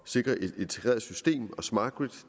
sikre et integreret system og smart grid